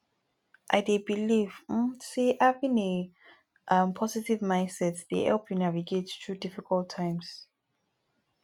i dey believe um say having a um positive mindset dey help you navigate through difficult times